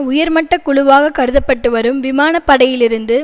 உயர்மட்டக் குழுவாகக் கருத பட்டு வரும் விமானப்படையிலிருந்து